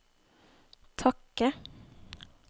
takke